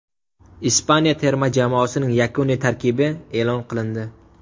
Ispaniya terma jamoasining yakuniy tarkibi e’lon qilindi.